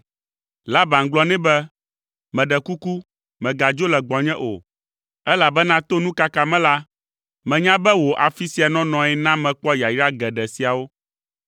Laban gblɔ nɛ be, “Meɖe kuku, mègadzo le gbɔnye o, elabena to nukaka me la, menya be wò afi sia nɔnɔe na mekpɔ yayra geɖe siawo.